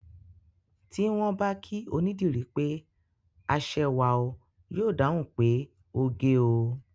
Tí wọ́n bá kí onídìrí pé aṣẹwà o, yóò dáhùn pé oge o